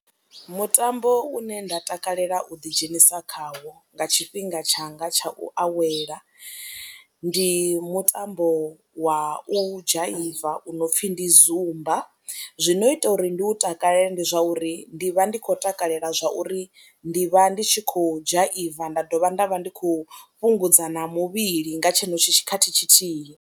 Mutambo une nda takalela u ḓidzhenisa khawo nga tshifhinga tshanga tsha u awela ndi mutambo wa u dzhaiva u no pfhi ndi Zumba zwi no ita uri ndi u takalele ndi zwa uri ndi vha ndi khou takalela zwa uri ndi vha ndi tshi khou dzhaiva nda dovha nda vha ndi khou fhungudza na muvhili nga tshenetsho tshikhathi tshithihi.